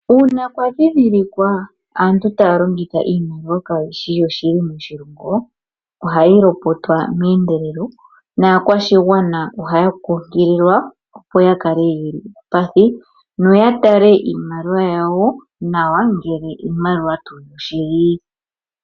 Uuna pwadhidhilikwa aantu talongitha iimaliwa kayishi yashili moshilongo ohayilopotwa mendelelo nakwashingwana ohaya kukilikwa opo yakale yeli uupathi noyatale iimaliwa yawo nawa ngele iimaliwa tu shili.